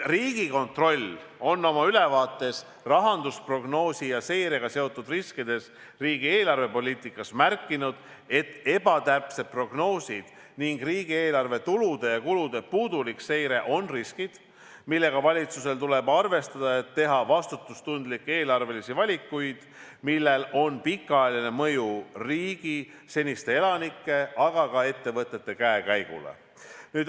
Riigikontroll on ülevaates rahandusprognoosi ja -seirega seotud riskidest riigi eelarvepoliitikas märkinud, et ebatäpsed prognoosid ning riigieelarve tulude ja kulude puudulik seire on riskid, millega valitsusel tuleb arvestada, et teha vastutustundlikke eelarvelisi valikuid, millel on pikaajaline mõju riigi, siinsete elanike, aga ka ettevõtete käekäigule.